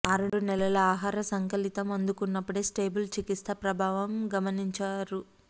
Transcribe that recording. ఆరు నెలల ఆహార సంకలితం అందుకున్నప్పుడే స్టేబుల్ చికిత్స ప్రభావం గమనించారు